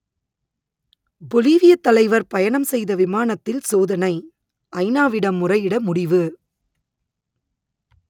பொலிவியத் தலைவர் பயணம் செய்த விமானத்தில் சோதனை ஐநாவிடம் முறையிட முடிவு